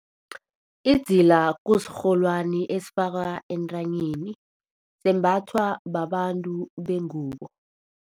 Idzila kusirholwani esifakwa entanyeni. Sembathwa babantu bengubo.